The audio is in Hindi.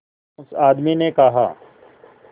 उस आदमी ने कहा